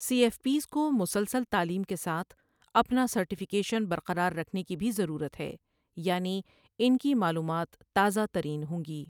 سی F Ps کو مسلسل تعلیم کے ساتھ اپنا سرٹیفیکیشن برقرار رکھنے کی بھی ضرورت ہے، یعنی ان کی معلومات تازہ ترین ہوں گی۔